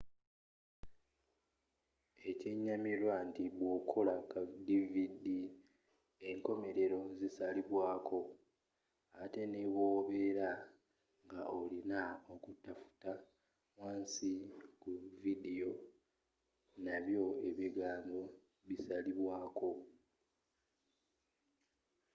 ekyenyamilwa nti bwokola ka dividi enkomelelo zisalibwako ette n'ebwobela nga olina okutafuta wansi ku vidiyo nabyo ebigambo bisalibwako